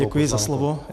Děkuji za slovo.